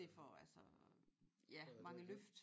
Det for altså ja mange løft